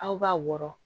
Aw b'a wɔrɔ